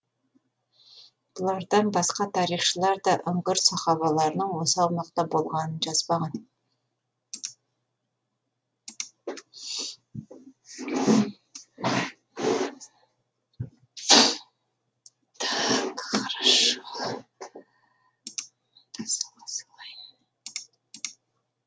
бұлардан басқа тарихшылар да үңгір сахабаларының осы аумақта болғанын жазбаған